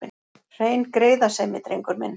Hrein greiðasemi, drengur minn.